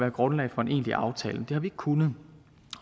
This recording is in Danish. et grundlag for en egentlig aftale det har vi ikke kunnet